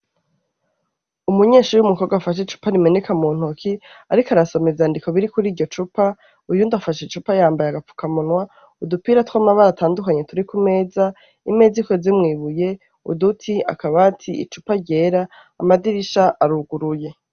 Umunyeshure afashe icupa muntoki ariko arasoma ivyandiko vyanditse kwiryo cupa uyundi afashe icupa yambaye agafuka munwa udupira twamabara atandukanye turi kumeza imeza ikozwe mwibuye uduti akabati icupa ryera amadirisha aruguruye